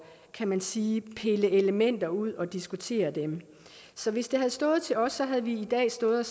kan man sige pille elementer ud og diskutere dem så hvis det havde stået til os havde vi i dag stået